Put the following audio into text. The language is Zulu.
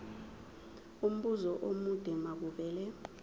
umbuzo omude makuvele